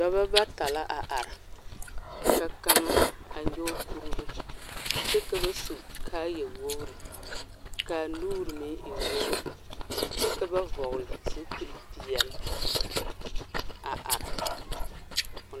Dɔbɔ bata la a are ka kaŋa a nyoge kuribo kyɛ ka ba su kaayɛwogre kaa nuure meŋ e wogre kyɛ ka ba vɔgle zupilpeɛɛle a are.